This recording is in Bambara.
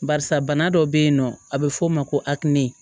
Barisa bana dɔ bɛ yen nɔ a bɛ f'o ma ko akumu